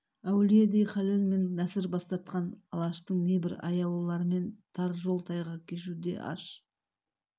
әулиедей халел мен нәзір бастатқан алаштың небір аяулыларымен тар жол-тайғақ кешуде аш